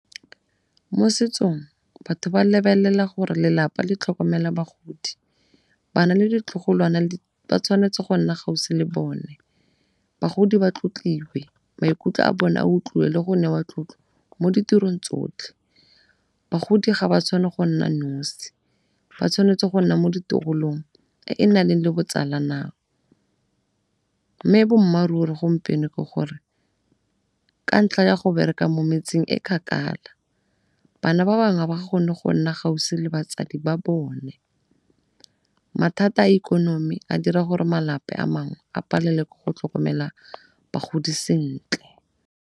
Mo setsong batho ba lebelela gore lelapa le tlhokomela bagodi, bana le ditlogolwana ba tshwanetse go nna gaufi le bone. Bagodi ba tlotliwe maikutlo a bone a utlwiwe le go newa tlotlo mo ditirong tsotlhe, bagodi ga ba tshwanna go nna nosi ba tshwanetse go nna mo e e na le botsala mme boammaaruri gompieno ke gore ka ntlha ya go bereka mo metseng e kgakala bana ba bangwe ga ba kgone go nna gaufi le batsadi ba bone. Mathata a ikonomi a dira gore malapa a mangwe a palelwe ke go tlhokomela bagodi sentle.